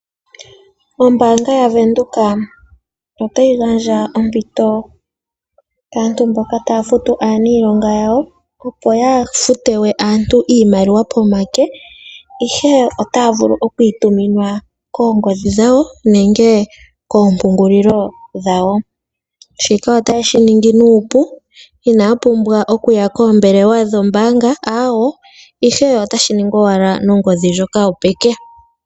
Ombaanga yaVenduka otayi gandja ompito kaantu mboka taya futu aaniilonga yawo, opo yaa fute we aantu iimaliwa pomake, ihe otaya vulu okuyi tuminwa koongodhi dhawo nenge koompungulilo dhawo . Shika otaye shi ningi nuupu, inaya pumbwa okuya koombelewa dhombaanga, ihe otashi ningwa owala koongodhi ndhoka dhopeke.